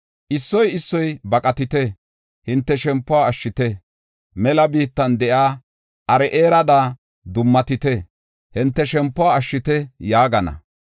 Issoy issoy, ‘Baqatite; hinte shempiw ashshite; mela biittan de7iya Aro7eerada dummatite, hinte shempuwa ashshite’ yaagana.